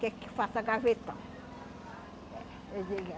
Quer que faça gavetão.